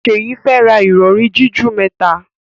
Seyi fè rá Ìrọ̀rí jiju mẹta.